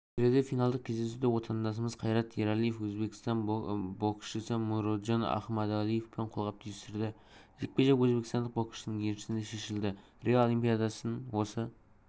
келіде финалдық кездесуде отандасымызқайрат ералиевөзбекстан боксшысымуроджон ахмадалиевпенқолғап түйістірді жекпе-жек өзбекстандық боксшының еншісіне шешілді рио олимпиадасын осы